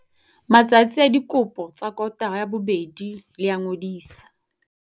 Matsatsi a dikopo tsa kotara ya bobedi le a ngodiso.